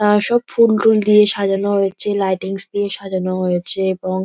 আহ সব ফুলটুল দিয়ে সাজানো হয়েছে লাইটিংস দিয়ে সাজানো হয়েছে এবং--